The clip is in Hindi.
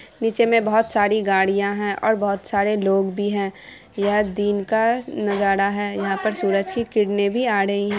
नीचे में बोहुत सारी गड़िया है और बोहुत सारे लोग भी है। यह दिन का नजारा है। यहां पर सूरज की किरणें भी आ रही है ।